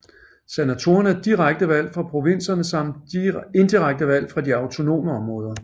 Senatorer er direkte valgt fra provinserne samt indirekte valgt fra de autonome områder